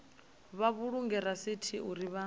vha vhulunge rasithi uri vha